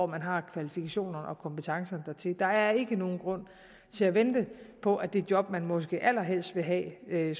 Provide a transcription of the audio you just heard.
man har kvalifikationer og kompetencer til der er ikke nogen grund til at vente på at det job man måske allerhelst vil have